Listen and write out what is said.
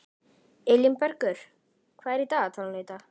Á Filippseyjum byggir fólk lítil hús handa því.